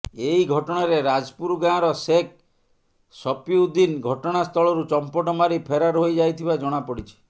ଏଇ ଘଟଣାରେ ରାଜପୁର ଗାଁର ସେକ୍ ସପିଉଦିନ ଘଟଣାସ୍ଥଳରୁ ଚମ୍ପଟ ମାରି ଫେରାର ହୋଇ ଯାଇଥିବା ଜଣାପଡ଼ିଛି